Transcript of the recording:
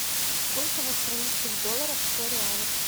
сколько в австралийских долларах сто реалов